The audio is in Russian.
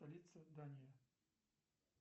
столица дании